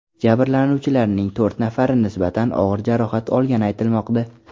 Jabrlanuvchilarning to‘rt nafari nisbatan og‘ir jarohat olgani aytilmoqda.